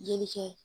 Joli kɛ